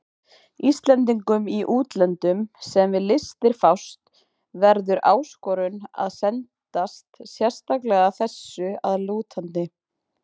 Íslendingum í útlöndum, sem við listir fást, verður áskorun að sendast sérstaklega þessu að lútandi.